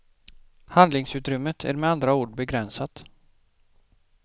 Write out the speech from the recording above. Handlingsutrymmet är med andra ord begränsat.